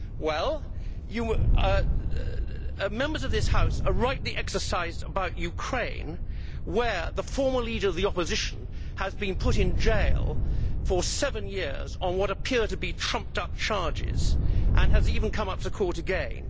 Well, Members of this House are rightly exercised about Ukraine, where the former leader of the opposition has been put in jail for seven years on what appear to be trumped up charges and has even come to court again.